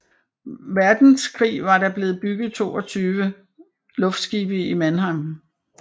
Verdenskrig var der blevet bygget 22 luftskibe i Mannheim